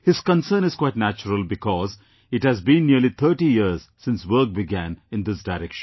His concern is quite natural because it has been nearly 30 years since work began in this direction